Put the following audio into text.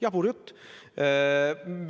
Jabur jutt!